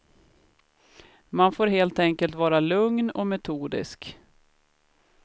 Man får helt enkelt vara lugn och metodisk.